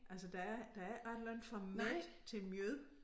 Altså der er der er ikke ret langt fra med til mjød